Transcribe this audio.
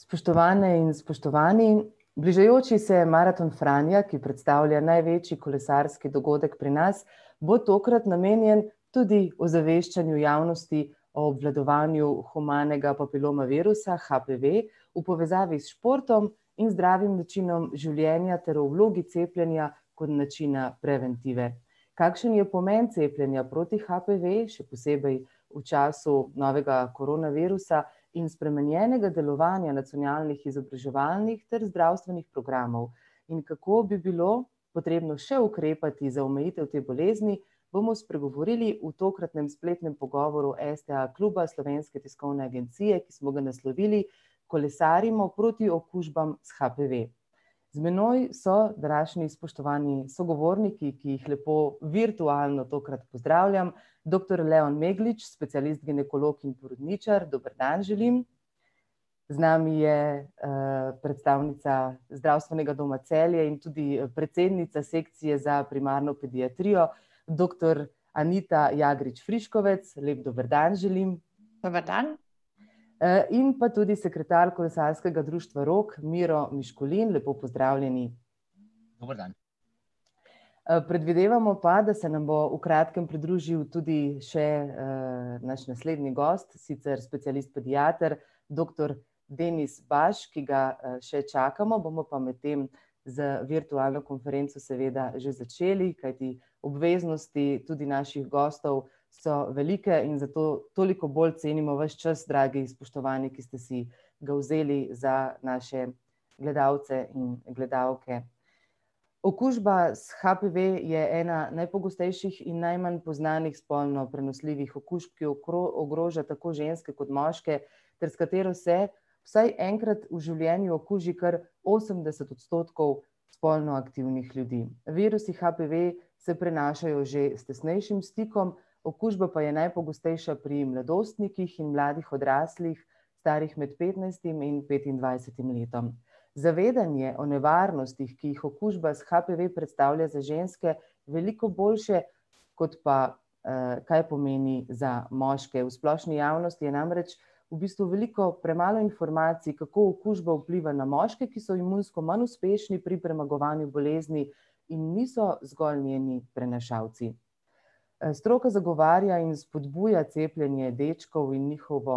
Spoštovane in spoštovani. Bližajoči se Maraton Franja, ki predstavlja največji kolesarski dogodek pri nas, bo tokrat namenjen tudi ozaveščanju javnosti o obvladovanju humanega papiloma virusa HPV v povezavi s športom in zdravim načinom življenja ter o vlogi cepljenja kot načina preventive. Kakšen je pomen cepljenja proti HPV, še posebej v času novega koronavirusa in spremenjenega delovanja nacionalnih izobraževanjih ter zdravstvenih programov. In kako bi bilo potrebno še ukrepati za omejitev te bolezni, bomo spregovorili v tokratnem spletnem pogovoru STA kluba Slovenske tiskovne agencije, ki smo ga naslovili: Kolesarimo proti okužbam s HPV. Z menoj so današnji spoštovani sogovorniki, ki jih lepo, virtualno tokrat, pozdravljam. Doktor [ime in priimek] , specialist ginekolog, in porodničar, dober dan želim. Z nami je predstavnica Zdravstvenega doma Celje in tudi predsednica Sekcije za primarno pediatrijo, doktor [ime in priimek] , lep dober dan želim. Dober dan. In pa tudi sekretar kolesarskega društva Rog, [ime in priimek] , lepo pozdravljeni. Predvidevamo pa, da se nam bom v kratkem pridružil tudi še naš naslednji gost, sicer specialist pediater, doktor [ime in priimek] , ki ga še čakamo, bomo pa medtem z virtualno konferenco seveda že začeli, kajti obveznosti tudi naših gostov so velike in zato toliko bolj cenimo vaš čas, dragi spoštovani, ki ste si ga vzeli za naše gledalce in gledalke. Okužba s HPV je ena najpogostejših in najmanj poznanih spolno prenosljivih okužb, ki ogroža tako ženske kot tudi moške ter s katero se vsaj enkrat v življenju okuži kar osemdeset odstotkov spolno aktivnih ljudi. Virusi HPV se prenašajo že s tesnejšim stikom, okužba pa je najpogostejša pri mladostnikih in mladih odraslih, starih med petnajstim in petindvajsetim letom. Zavedanje o nevarnostih, ki jih okužba s HPV predstavlja za ženske, veliko boljše, kot pa kaj pomeni za moške. V splošni javnosti je namreč v bistvu veliko premalo informacij, kako okužba vpliva na moške, ki so imunsko manj uspešni pri premagovanju bolezni in niso zgolj njeni prenašalci. Stroka zagovarja in spodbuja cepljenje dečkov in njihovo